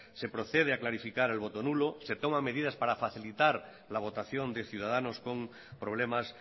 se procede a clarificar el voto nulo se toma medidas para facilitar la votación de ciudadanos con problemas